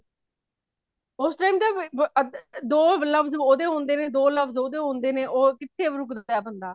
ਉਸ time ਤੇ ਦੋ ਲਫ਼ਜ਼ੀ ਉਦੇ ਹੋਂਦੇ ਨੇ, ਦੋ ਲਫ਼ਜ਼ੀ ਉਦੇ ਹੋਂਦੇ ਨੇ, ਓਂ ਕਿੱਥੇ ਰੁਕਦਾ ਬਲਾ